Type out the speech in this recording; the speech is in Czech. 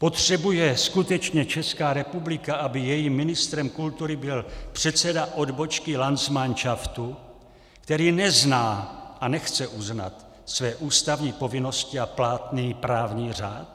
Potřebuje skutečně Česká republika, aby jejím ministrem kultury byl předseda odbočky landsmanšaftu, který nezná a nechce uznat své ústavní povinnosti a platný právní řád?